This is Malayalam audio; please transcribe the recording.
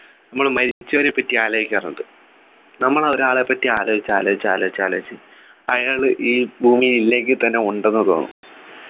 നമ്മള് മരിച്ചവരെപ്പറ്റി ആലോചിക്കാറുണ്ട് നമ്മൾ ഒരാളെപ്പറ്റി ആലോചിച്ച് ആലോചിച്ച് ആലോചിച്ച് ആലോചിച്ച് അയാള് ഈ ഭൂമിയിൽ ഇല്ലെങ്കി തന്നെ ഉണ്ടെന്നു തോന്നും